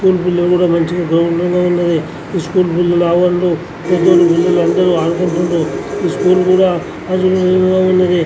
school పిల్లలు కూడ మంచిగ గ్రౌండ్ లోనే వున్నది ఈ స్కూల్ పిల్లలు వాళ్ళు పెదోల్లు పిల్లలందరూ ఆడుకుంటున్నారు ఈ స్కూల్ కూడ ఉన్నది --